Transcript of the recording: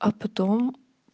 а потом